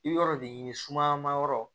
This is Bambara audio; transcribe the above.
I bɛ yɔrɔ de ɲini sumayanmayɔrɔ